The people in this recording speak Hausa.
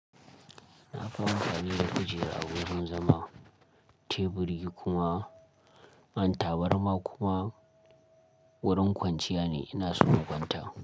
Nafi amfani da kujera wurin zama, teburi kuma kan tabarma kuma wurin kwanciya ne ina so in kwanta.